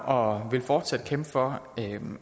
og vil fortsat kæmpe for